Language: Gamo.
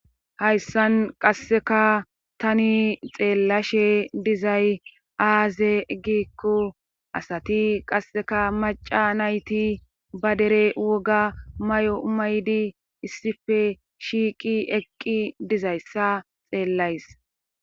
hayssan qasseka tani xeellashe dizay aaze gikko asati qasseka maca nayti ba dere woga may7o umaydi issife shiiqi eqqi dizayssa xeellays